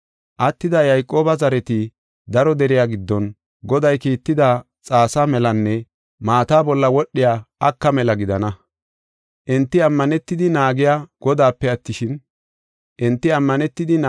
Attida Yayqooba zareti daro deriya giddon Goday kiitida xaasa melanne maata bolla wodhiya aka mela gidana. Enti ammanetidi naagey Godaape attishin, ase gidenna.